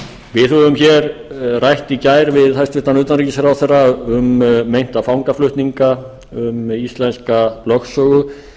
við höfum hér rætt í gær við hæstvirtan utanríkisráðherra um meinta fangaflutninga um íslenska lögsögu